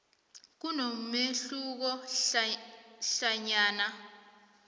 kunomehluko hlanyana